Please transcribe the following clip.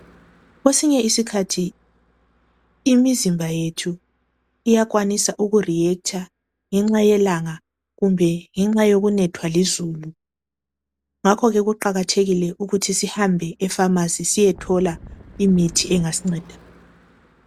Kwesinye isikhathi imizimba yethu iyakwanisa uku reactor ngenxa yelanga kumbe ngenxa yokunethwa lizulu. Ngakho ke kuqakathekile ukuthi sihambe efamasi siyethola imithi engasinceda.